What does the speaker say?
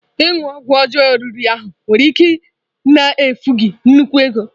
Ịṅụ ọgwụ ọjọọ riri ahụ nwere ike na-efu gị nnukwu ego.